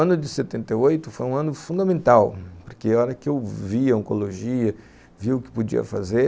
Então, o ano de setenta e oito foi um ano fundamental, porque a hora que eu vi a oncologia, vi o que podia fazer,